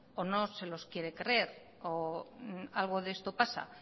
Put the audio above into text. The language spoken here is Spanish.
o no se los quiere creer o algo de esto pasa